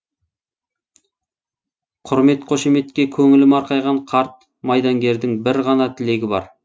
құрмет қошеметке көңілі марқайған қарт майдангердің бір ғана тілегі бар